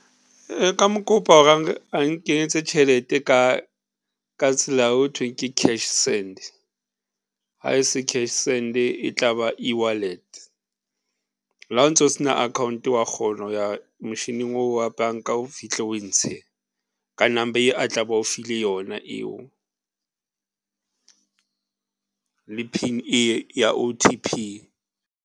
Nka mo kopa hore a nkenyetse tjhelete ka, ka tsela ho thweng ke Cash Send, ha e se Cash Send e tlaba eWallet. La o ntso sena akhaonto, wa kgona ho ya mochining oo wa banka o fihle o e ntshe ka number e a tla be a o file yona eo le PIN-e ya O_T_P.